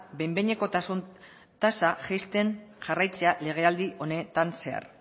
behin behinekotasun tasa jaisten jarraitzea legealdi honetan zehar